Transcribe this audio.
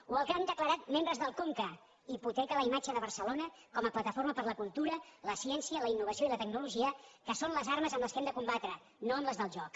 o el que han declarat membres del conca hipoteca la imatge de barcelona com a plataforma per a la cultura la ciència la innovació i la tecnologia que són les armes amb què hem de combatre no amb les del joc